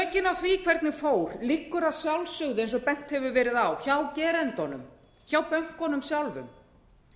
sökin á því hvernig fór liggur að sjálfsögðu eins og bent hefur verið á hjá gerendunum hjá bönkunum sjálfum